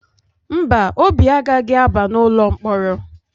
Mba, Obi agaghị agba n’ụlọ mkpọrọ.